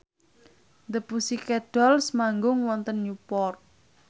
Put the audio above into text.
The Pussycat Dolls manggung wonten Newport